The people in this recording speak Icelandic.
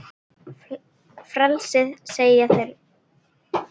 Frelsi segja þeir.